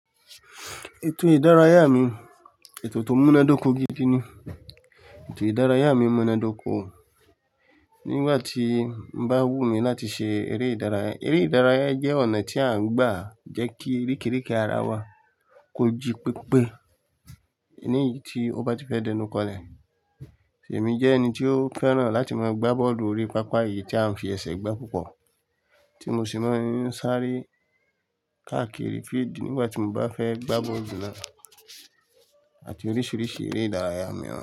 Ètò ìdárayá mi, ètò tó múná dóko gidi ni. Ètò ìdárayá mi múná dóko. Nígbà tí n bá wù mí láti ṣe eré ìdárayá, eré ìdárayá jẹ́ ọ̀nà tí à ń gbà jẹ́ kí ìríkìríkì ara wa kọ ji pípé. Èleyi tí ó bá ti fẹ́ dẹnu kọlẹ. Èmi jẹ́ ẹni tí ó fẹ́ràn láti máa gbá bọ́ọ̀lù orí pápá, èyí tí a ń fi ẹsẹ̀ gbá púpọ̀ tí mo sì máa ń sáré káàkiri field nígbà tí mo bá fẹ́ gbá bọ́ọ̀lù náà àti oríṣiríṣi eré ìdárayá mìíràn.